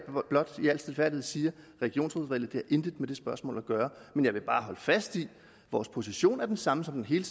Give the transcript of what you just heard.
blot i al stilfærdighed siger regionsrådsvalget har intet med det spørgsmål at gøre men jeg vil bare holde fast i at vores position er den samme som den hele